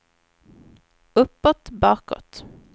uppåt bakåt